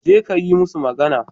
Jeka ka yi musu magana.